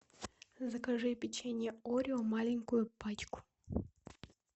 закажи печенье орео маленькую пачку